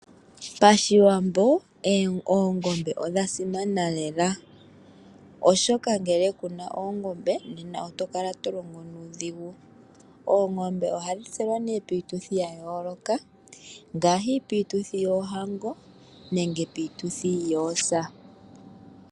Pashiwambo oongombe odha simana lela , oshika ngele kuna oongombe nena oto kala to longo nuudhigu. Oongombe ohadhi tselwa piituthu ya yooloka ngaashi piituthi yoohango nenge piituthi yoosa.